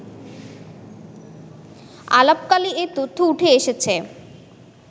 আলাপকালে এ তথ্য ওঠে এসেছে